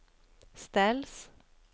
ställs